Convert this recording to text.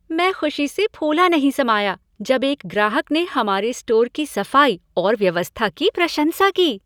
मैं खुशी से फूला नहीं समाया जब एक ग्राहक ने हमारे स्टोर की सफाई और व्यवस्था की प्रशंसा की।